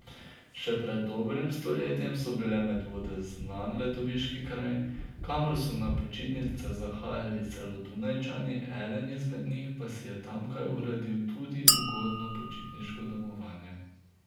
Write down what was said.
Še pred dobrim stoletjem so bile Medvode znan letoviški kraj, kamor so na počitnice zahajali celo Dunajčani, eden izmed njih pa si je tamkaj uredil tudi ugodno počitniško domovanje.